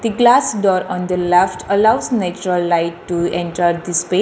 The glass door on the left allows actual lights to enjoy this pe --